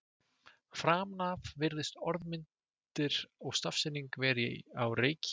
Framan af virðast orðmyndir og stafsetning vera á reiki.